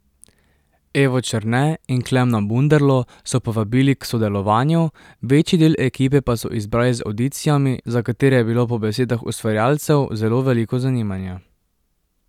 Evo Černe in Klemena Bunderlo so povabili k sodelovanju, večji del ekipe pa so izbrali z avdicijami, za katere je bilo po besedah ustvarjalcev zelo veliko zanimanja.